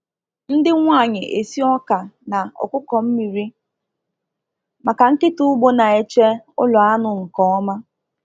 Ndị nwanyị esi ọka na ọkụkọ mmiri maka nkịta ugbo na-eche ụlọ anụ nke ọma.